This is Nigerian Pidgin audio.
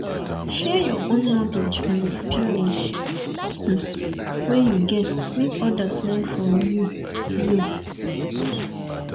share your own kownledge and experience um wey you get make others learn from you you